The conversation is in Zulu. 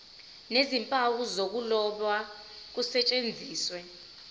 nezimpawu zokuloba kusetshenziswe